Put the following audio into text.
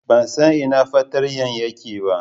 Ban san ina fartanya take ba.